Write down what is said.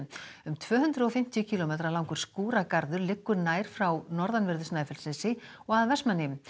um tvö hundruð og fimmtíu kílómetra langur liggur nær frá norðanverðu Snæfellsnesi og að Vestmannaeyjum